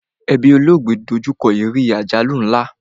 Ẹbí olóògbé do jú kọ ìrírí àjálù nla